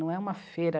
Não é uma feira.